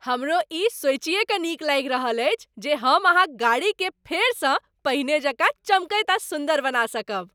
हमरो ई सोचिए कऽ नीक लागि रहल अछि जे हम अहाँक गाड़ीकेँ फेरसँ पहिने जकाँ चमकैत आ सुन्दर बना सकब।